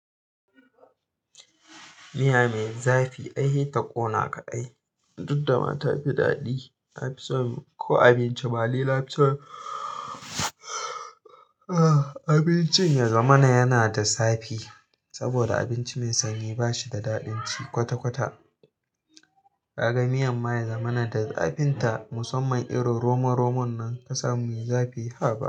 Miya mai zafi, ai heta ƙona ka ai. Duk da mata fi daɗi, na fi sonko abinci, ma nina fi son. Abincin ya zamana yana da zafi saboda abinci mai sanyi ba shi da daɗin ci kwata-kwata. Ka ga miyan ma ya zamana da zafin ta musamman irin romon-romon nan kasamu mai zafi, haɓa!